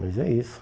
Mas é isso.